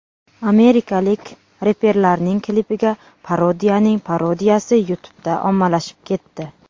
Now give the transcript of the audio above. Amerikalik reperlarning klipiga parodiyaning parodiyasi YouTube’da ommalashib ketdi.